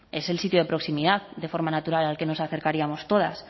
es el sitio de proximidad de forma natural al que nos acercaríamos todas